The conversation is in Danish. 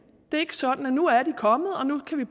det er ikke sådan at nu er de kommet og nu kan vi